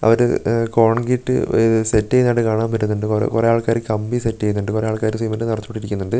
അവര് ഉം കോൺക്രീറ്റ് ഉഹ് സെറ്റ് ചെയ്തതായിട്ട് കാണാൻ പറ്റുന്നുണ്ട് കുറെ കുറേ ആൾക്കാര് കമ്പി സെറ്റ് ചെയ്യുന്നുണ്ട് കുറേ ആൾക്കാര് സിമന്റ്‌ നിറച്ചു പിടിപ്പിക്കുന്നുണ്ട് പിന്നെ --